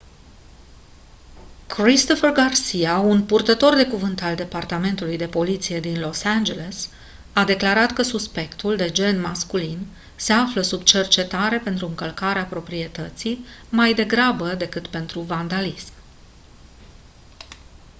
christopher garcia un purtător de cuvânt al departamentului de poliție din los angeles a declarat că suspectul de gen masculin se află sub cercetare pentru încălcarea proprietății mai degrabă decât pentru vandalism